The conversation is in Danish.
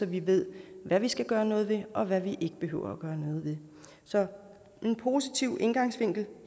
vi ved hvad vi skal gøre noget ved og hvad vi ikke behøver at gøre noget ved så en positiv indgangsvinkel